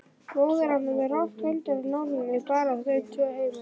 Bróðir hennar með rokk undir nálinni, bara þau tvö heima.